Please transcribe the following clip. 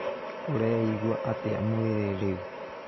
Ũreeigua atĩa mwĩrĩ rĩu?